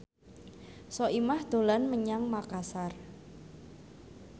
Soimah dolan menyang Makasar